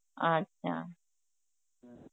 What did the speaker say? আচ্ছা